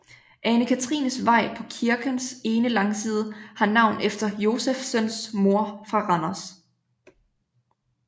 Ane Katrines Vej på kirkens ene langside har navn efter Josephsens mor fra Randers